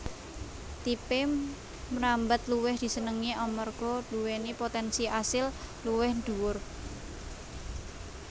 Tipe mrambat luwih disenengi amarga nduwèni potènsi asil luwih dhuwur